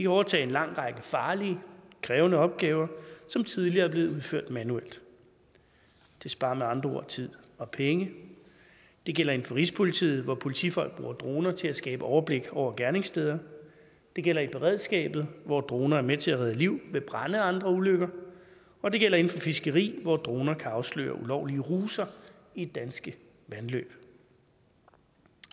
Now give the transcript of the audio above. overtage en lang række farlige og krævende opgaver som tidligere er blevet udført manuelt de sparer med andre ord tid og penge det gælder inden for rigspolitiet hvor politifolk bruger droner til at skabe overblik over gerningssteder det gælder i beredskabet hvor droner er med til at redde liv ved brande og andre ulykker og det gælder inden for fiskeri hvor droner kan afsløre ulovlige ruser i danske vandløb